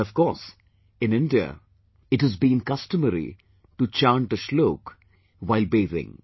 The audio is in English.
And of course, in India, it has been customary to chant a Shlok while bathing